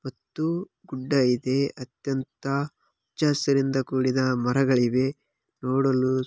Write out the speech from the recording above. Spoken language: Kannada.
ಹತ್ತು ಗುಡ್ಡ ಇದೆ ಅತ್ಯಂತ ಅಚ್ಚ ಹಸಿರಿನಿಂದ ಕೂಡಿದ ಮರಗಳಿವೆ. ನೋಡಲು--